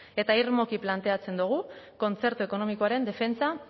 eta irmoki planteatzen dugu kontzertu ekonomikoaren defentsa